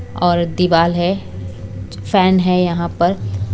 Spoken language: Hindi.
और दीवाल है फैन है यहां पर--